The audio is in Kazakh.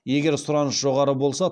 егер сұраныс жоғары болса